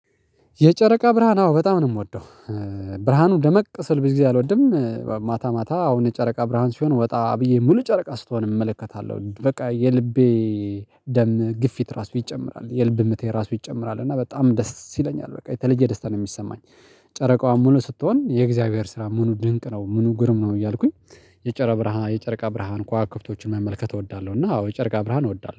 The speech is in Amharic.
የጨረቃ ብርሃን አዎ በጣም ነው የምወደው ብርሃኑ ደመቅ ሲል ብዙ ጊዜ አልወድም ማታ ማታ አሁን ጨረቃ ብርሃን ሲሆን ወጣ ብዬ ሙሉ ጨረቃ ስትሆን እመለከታለሁ በቃ የልቤ ደም ግፊት ራሱ ይጨምራል። የልብ ምት የራሱ ይጨምራል እና በጣም ደስ ይለኛል በቃ የተለየ ደስታ ነው የሚሰማኝ ጨረቃው ሙሉ ስትሆን የእግዚአብሔር ስራ ምኑ ድንቅ ነው ምኑ ግሩም ነው እያልኩኝ የጨረቃ ብርሃን የጨረቃ ብርሃን ኮከብቶችን መመልከት እወዳለሁ እና አዎ የጨረቃ ብርሃን እወዳለሁ